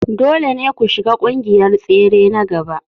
Dole ne ku shiga ƙungiyar tsere na gaba.